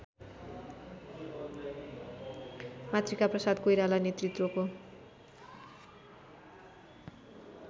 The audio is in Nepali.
मातृकाप्रसाद कोइराला नेतृत्वको